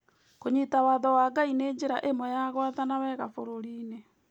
kũnyita watho wa Ngai nĩ njĩra ĩmwe ya gwathana wega bũrũri-inĩ